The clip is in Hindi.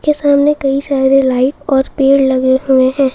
यह सामने कई सारे लाइट और पेड़ लगे हुए है।